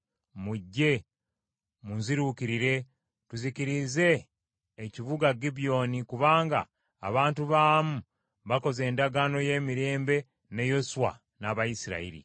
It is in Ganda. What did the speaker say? “Mujje munziruukirire tuzikirize ekibuga Gibyoni kubanga abantu baamu bakoze endagaano y’emirembe ne Yoswa n’Abayisirayiri.”